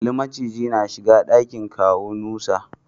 Kalli macijin na shiga dakin kawu Nusa.